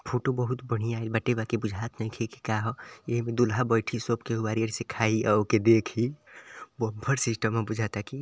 Photo बहुत बढ़िया आइल बाटे बाकि बुझात नइखे की काह एहिमे दूल्हा बैठी सब केहू आरी-आरी से खाई आ ओके देखी बम्फर सिस्टम ह बुझाता की।